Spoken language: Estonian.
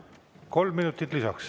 Kolm minutit lisaks.